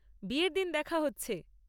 বিয়ের দিন দেখা হচ্ছে!